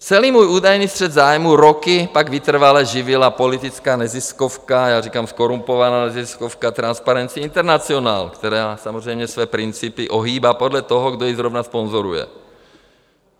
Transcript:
Celý můj údajný střet zájmů roky pak vytrvale živila politická neziskovka, já říkám, zkorumpovaná neziskovka, Transparency International, která samozřejmě své principy ohýbá podle toho, kdo ji zrovna sponzoruje.